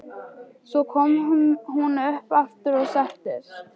Svo kom hún upp aftur og settist.